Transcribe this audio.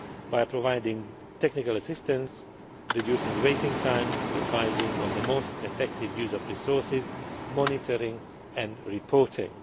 EU Funds by providing technical assistance, reducing waiting time, advising on the most effective use of resources, monitoring and